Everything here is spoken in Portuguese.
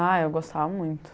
Ah, eu gostava muito.